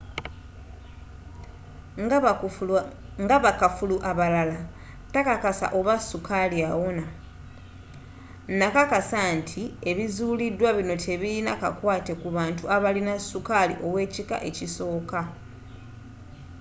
nga bakafulu abalala takakasa oba sukaali awona nakakasa nti ebizuulidwa bino tebirina kakwaate ku bantu abalina sukaali ow'ekika ekisooka